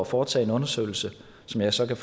foretage en undersøgelse som jeg så kan